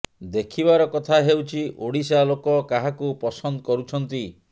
ଦେଖିବାର କଥା ହେଉଛି ଓଡ଼ିଶା ଲୋକ କାହାକୁ ପସନ୍ଦ କରୁଛନ୍ତି